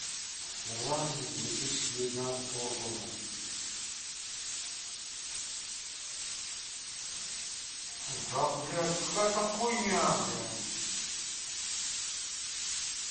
ирландец две тысячи девятнадцатого года да блядь какая то хуйня блядь